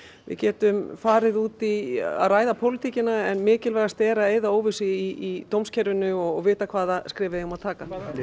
við getum farið út í að ræða pólitíkina en mikilvægast er að eyða óvissu í dómskerfinu og vita hvaða skref við eigum að taka